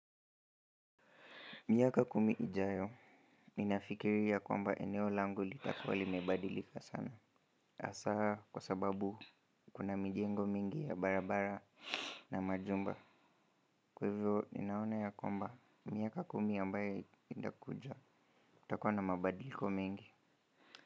Miaka kumi ijayo, ninafikiri ya kwamba eneo langu litakuwa limebadilika sana. Hasa kwa sababu kuna mijengo mingi ya barabara na majumba. Kwq hivyo, ninaona ya kwamba, miaka kumi ambayo itakuja. Kutakuwa na mabadiliko mengi.